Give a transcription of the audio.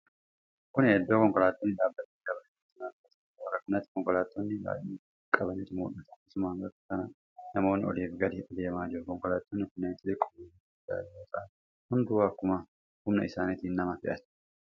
Kun iddoo konkolaattonni dhaabatanii dabareen itti nama fe'ataniidha. Bakka kanatti konkolaattota baay'ina qabantu mul'ata. Akkasumas bakka kana namoonni olii fi gadi adeemaa jiru. Konkolaattonni kunneen xixiqqoo fi gurguddaa yoo ta'an hunduu akkuma humna isaanitti nama fe'atu.